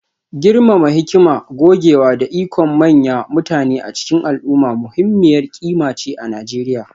girmama hikima, gogewa, da ikon manyan mutane a cikin al'umma muhimmiyar ƙima ce a Najeriya